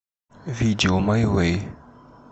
видео май вэй